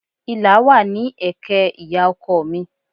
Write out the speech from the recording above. Ìlà wà ní ẹ̀kẹ́ ìyá ọkọ mi